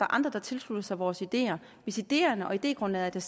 andre der tilslutter sig vores ideer hvis ideerne og idégrundlaget er